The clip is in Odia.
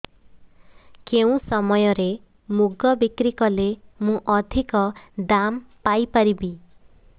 କେଉଁ ସମୟରେ ମୁଗ ବିକ୍ରି କଲେ ମୁଁ ଅଧିକ ଦାମ୍ ପାଇ ପାରିବି